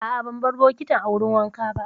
A'a, ban bar bokitin a wurin wanka ba.